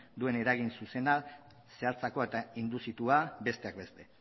duen eragin zuzena zehatzagoa eta induzitua besteak beste